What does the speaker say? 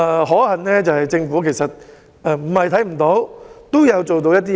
可幸，政府沒有視而不見，也有做到一些工夫。